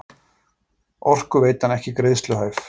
Orkuveitan ekki greiðsluhæf